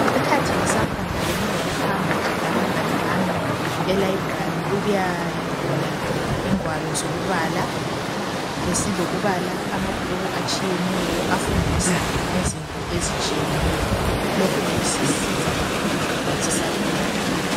Ngesikhathi ngisafunda bengilo kuhamba labangane bami e library ukuyaboleka ingwalo zokubala. Besilokubala amabhuku atshiyeneyo. Afundisa ngezinto ezitshiyeneyo. Lokhu bekusisiza kakhulu sisakhula.